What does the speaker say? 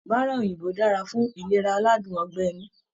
Bárá òyìnbó dára fún ìlera aládùn ọgbẹ̀ inú.